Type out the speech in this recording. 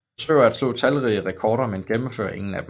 Forsøger at slå talrige rekorder men gennemfører ingen af dem